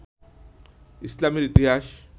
ইসলামের ইতিহাস